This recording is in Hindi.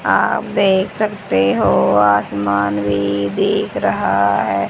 आप देख सकते हो आसमान भी दिख रहा हैं।